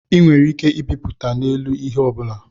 A nwere ike ịbịpụta na-elu ihe ọbụla